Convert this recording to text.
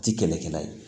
Ti kɛlɛkɛla ye